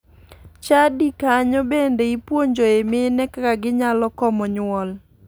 Chadi kanyo bende ipuonjoe mine kaka ginyalo komo nyuol.